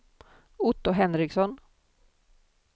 Otto Henriksson